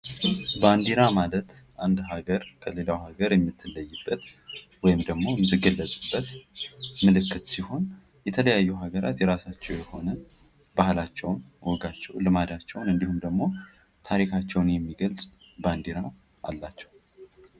ባንዲራ ማለት አንድ ሃገር ከሌላው ሀገር የምትለይበት ወይም ደግሞ የምትገለጽበት ምልክት ሲሆን የተለያዩ ሀገራት የራሳቸው የሆነ ባህላቸውን ወጋቸውን ልማዳቸውን እንዲሁም ደግሞ ታሪካቸውን የሚገልጽ ባንዲራ አላቸው ::